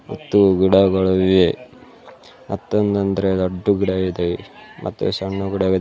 ಮತ್ತು ಗಿಡಗಳು ಇವೆ ಮತ್ತೊದ್ ಅಂದ್ರೆ ದೊಡ್ಡ ಗಿಡ ಇದೆ ಮತ್ತೆ ಸಣ್ಣ ಗಿಡವಿದೆ.